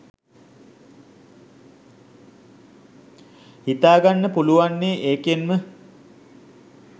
හිතාගන්න පුළුවන්නෙ ඒකෙන්ම